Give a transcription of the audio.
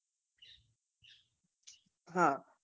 હા